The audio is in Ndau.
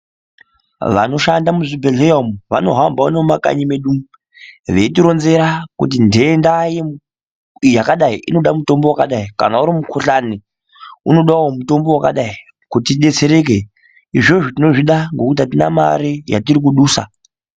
Vanoshanda muzvibhedhlera umu vari kuhamba mumakanyi mwedu umu veyitironzera kuti ndenda yaakadai inodawo mitombo wakadai kanauri mukuhlani unodawo mutombo wakadai kuti tidetsere ke izvizvo tino zvida ngekuti hatina mare satirical kudisa.